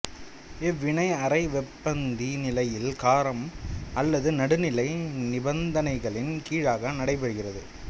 இவ்வினை அறைவெப்பநிலையில் காரம் அல்லது நடுநிலை நிபந்தனைகளின் கீழாக நடைபெறுகிறது